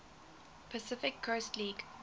pacific coast league